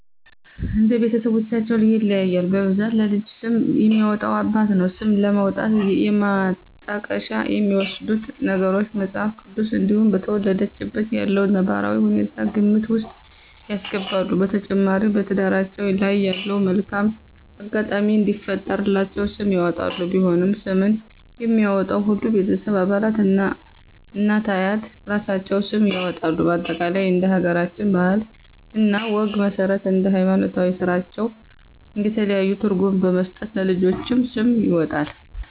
እንደ ቤተስቦቻቸው ይለያያል በብዛት ለልጅ ስም የሚያወጣ አባት ነው። ስም ለማውጣት የማጣቀሻ የሚወስዱት ነገሮች:- መጽሐፍ ቅዱስ እንዲሁም በተወለደችበት ያለውን ነባራዊ ሁኔታ ግምት ውስጥ ያስገባሉ። በተጨማሪ በትዳራቸው ላይ ያለውን መልካም አጋጣሚ እንዲፈጥርላቸው ስም ያወጣሉ። ቢሆንም ስምን የሚያወጣው ሁሉም የቤተሰብ አባላት እናት፤ አያት እራሳቸውም ስም ያወጣሉ በአጠቃላይ እንደ ሀገራችን ባህል እና ወግ መስረት እንደ ሀይማኖታዊ ስራታችን የተለያዩ ትርጉም በመስጠት ለልጆች ስም ይወጣል